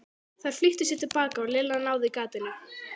Þær flýttu sér til baka og Lilla náði gatinu.